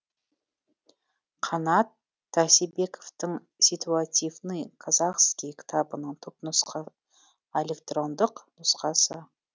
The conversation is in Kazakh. қанат тасибековтың ситуативный казахский кітабының түпнұсқа электрондық нұсқасы